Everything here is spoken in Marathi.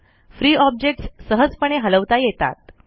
फ्री ऑब्जेक्टस सहजपणे हलवता येतात